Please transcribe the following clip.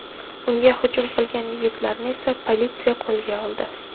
Unga hujum qilgan yigitlarni esa politsiya qo‘lga oldi.